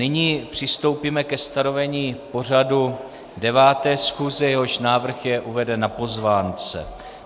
Nyní přistoupíme ke stanovení pořadu 9. schůze, jehož návrh je uveden na pozvánce.